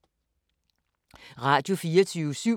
Radio24syv